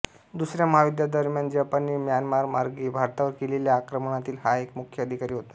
दुसऱ्या महायुद्धादरम्यान जपानने म्यानमारमार्गे भारतावर केलेल्या आक्रमणातील हा एक मुख्य अधिकारी होता